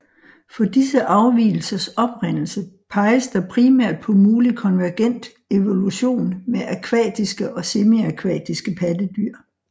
For disse afvigelsers oprindelse peges der primært på mulig konvergent evolution med akvatiske og semiakvatiske pattedyr